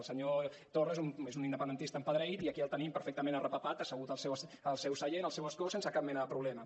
el senyor torra és un independentista empedreït i aquí el tenim perfectament arrepapat assegut al seu seient al seu escó sense cap mena de problema